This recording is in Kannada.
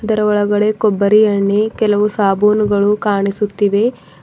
ಇದರ ಒಳಗಡೆ ಕೊಬ್ಬರಿ ಎಣ್ಣಿ ಕೆಲವು ಸಾಬೂನುಗಳು ಕಾಣಿಸುತ್ತಿವೆ.